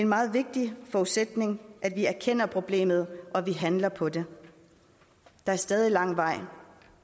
meget vigtig forudsætning at vi erkender problemet og vi handler på det der er stadig lang vej